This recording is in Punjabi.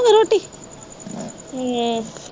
ਹੂੰ